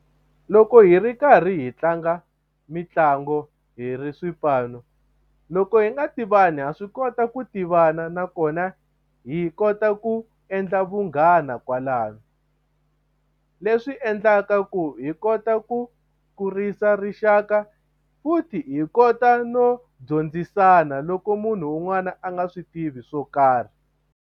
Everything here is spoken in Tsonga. Loko hi ri karhi hi tlanga mitlangu hi ri swipano loko hi nga tivani ha swi kota ku tivana nakona hi kota ku endla vunghana kwalano leswi endlaka ku hi kota ku kurisa rixaka futhi hi kota no dyondzisana loko munhu un'wana a nga swi tivi swo karhi.